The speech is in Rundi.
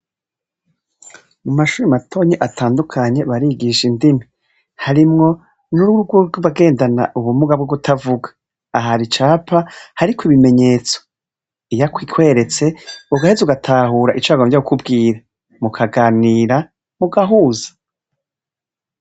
Mu mashuri matonyi atandukanye barigisha indimi harimwo n'ururwurw'ubagendana ubumuga bwo kutavuga ahara icapa hariko ibimenyetso iyako ikweretse ugaheza ugatahura icakomvya kukubwira mukaganira mugahuza.